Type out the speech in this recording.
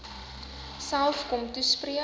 self kom toespreek